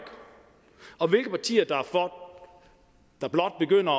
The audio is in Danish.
og hvilke partier der blot begynder